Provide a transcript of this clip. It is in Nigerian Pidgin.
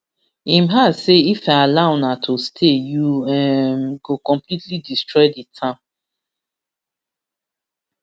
im add say if i allow una to stay you um go completely destroy di town